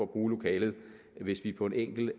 bruge lokalet hvis vi på en enkel